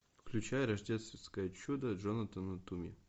включай рождественское чудо джонатана туми